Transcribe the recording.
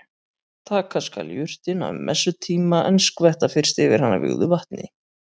Taka skal jurtina um messutíma en skvetta fyrst yfir hana vígðu vatni.